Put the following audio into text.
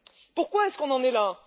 Pourquoi en sommes nous là?